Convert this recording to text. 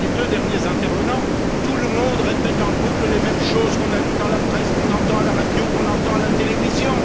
À part les deux derniers intervenants, tout le monde répète en boucle les mêmes choses qu'on a lues dans la presse, qu'on entend à la radio, qu'on entend à la télévision.